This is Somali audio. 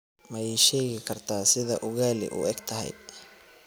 ma ii sheegi kartaa sida ugali u eg tahay